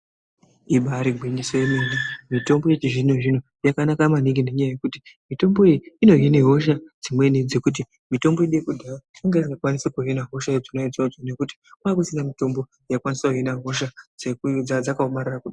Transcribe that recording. Imbari gwinyiso remene mitombo ychizvino-zvino yakanaka maningi ngekuti mitombo iyi inohina hosha dzimweni dzekuti mitombo yekudhaya kwainga kusina mitombo yaikwanisa kuhina hosha dzaiya dzakaomarara kudaro.